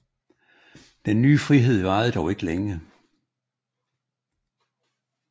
Den nye frihed varede dog ikke længe